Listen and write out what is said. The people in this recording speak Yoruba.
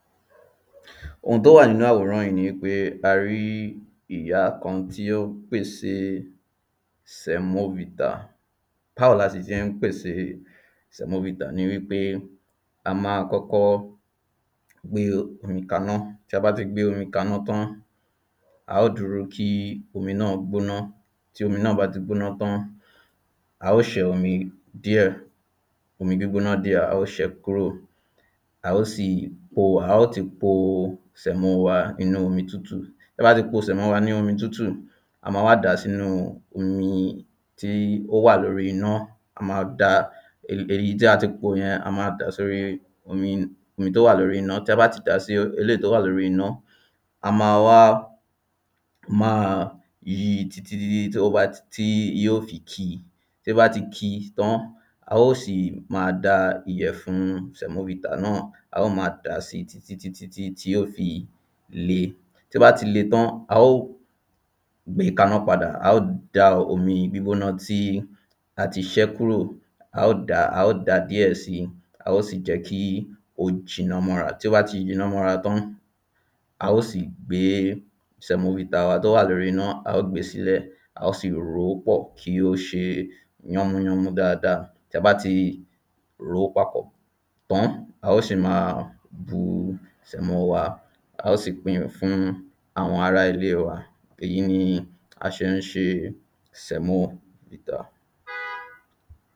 Oun tí ó wà nínú àwòrán yí ni wípé a rí ìyá kan tí ó pèsè semovita Báwo lasì ṣe ń pèsè semovita ni wípé a máa kọ́kọ́ gbé omi kaná Ti a bá ti gbé omi kaná tán a óò dúró kí omi náà gbóná Tí omi náà bá ti gbóná tán a óò ṣẹ́ omi díẹ̀ omi gbígboná díè a óò ṣẹ kúrò A óò sì po a óò ti po Semo wa nínú omi tútù Tí a bá ti po Semo wa nínú omi tútù a máa wá dà á sínu omi tí ó wà lórí iná A ma da èyí tí a ti pò yẹn a ma dà á sí omi omi tí ó wà lórí iná Tí a bá ti da sí èyí èléyí tí ó wà lórí iná a ma wá máa yí i títí tí yóò fi ki Tí ó bá ti ki tán a óò sì ma da ìyẹ̀fun Semovita náà a óò máa dà á sí títí tí yóò fi le Tí ó bá ti le tán a óò gbe kaná padà A óò da omi gbígbóná tí a ti ṣé kúrò A óò dà á a óò da díẹ̀ síi A óò sì jẹ́ kí ó jiná mọ́ra Tí ó bá ti jiná mọ́ra tán a óò sì gbé Semovita wa tí ó wà lórí iná a óò gbe sí ilẹ̀ A óò sì rò ó pọ̀ kí ó ṣe yánmúyánmú dáadáa Tí a bá ti rò ó papọ̀ tán a óò sì ma bu Semo wa A óò sì pin fún àwọn ará ilé wa Ìyẹn ni à ṣe ń ṣe Semovita